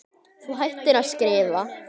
Þú hættir að skrifa.